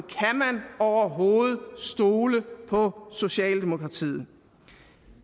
overhovedet stole på socialdemokratiet